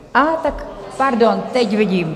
Aha, tak pardon, teď vidím.